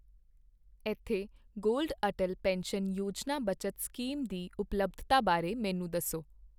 ਇੱਥੇ gold Atal pension ਯੋਜਨਾ ਬੱਚਤ ਸਕੀਮ ਦੀ ਉਪਲੱਬਧਤਾ ਬਾਰੇ ਮੈਨੂੰ ਦੱਸੋ !